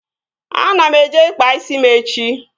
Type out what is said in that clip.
Ana m eje ịkpa isi m echi